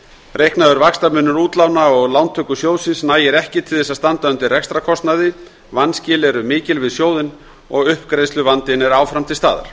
reiknaður vaxtamunur útlána og lántöku sjóðsins nægir ekki til þess að standa undir rekstrarkostnaði vanskil eru mikil við sjóðinn og uppgreiðsluvandinn er áfram til staðar